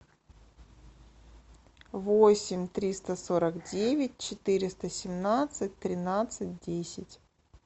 восемь триста сорок девять четыреста семнадцать тринадцать десять